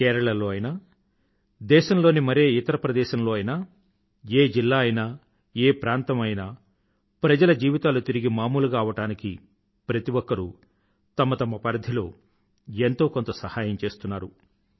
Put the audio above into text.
కేరళ లో అయినా దేశంలోని మరే ఇతర ప్రదేశం లో అయినా ఏ జిల్లా అయినా ఏ ప్రాంతం అయినా ప్రజల జీవితాలు తిరిగి మామూలుగా అవడానికి ప్రతి ఒక్కరూ తమ తమ పరిధిలో ఎంతో కొంత సహాయం చేస్తున్నారు